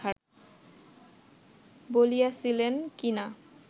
বলিয়াছিলেন কি না